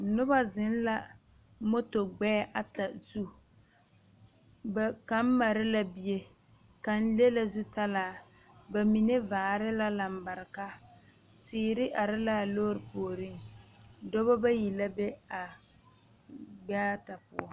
Noba zeŋ la moto gbɛɛ ata zu ba kaŋ mare la bie kaŋ le la zutalaa bamine vare la lanbareka teere are la a lɔre puori dɔɔba bayi la be a gbɛɛta poɔ.